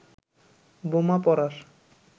বোমা পড়ার